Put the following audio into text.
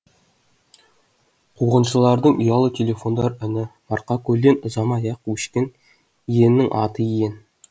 қуғыншылардың ұялы телефондар үні марқакөлден ұзамай ақ өшкен иеннің аты иен